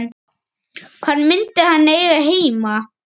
Hvar myndi hann eiga heima?